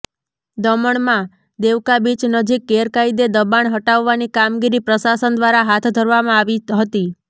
દમણમાં દેવકા બીચ નજીક ગેરકાયદે દબાણ હટાવવાની કામગીરી પ્રશાસન દ્વારા હાથ ધરવામાં આવી હતી